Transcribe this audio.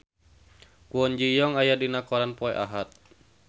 Kwon Ji Yong aya dina koran poe Ahad